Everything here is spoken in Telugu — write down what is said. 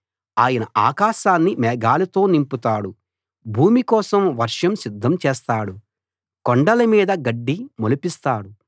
ఆయన ఆకాశాన్ని మేఘాలతో నింపుతాడు భూమి కోసం వర్షం సిద్ధం చేస్తాడు కొండల మీద గడ్డి మొలిపిస్తాడు